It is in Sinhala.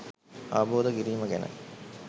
අවබෝධ කිරීම ගැන